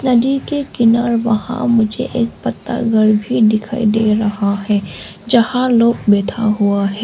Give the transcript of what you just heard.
नदी के किनारे वहां मुझे एक पत्ता घर दिखाई दे रहा है जहां लोग बैठा हुआ है।